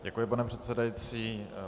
Děkuji, pane předsedající.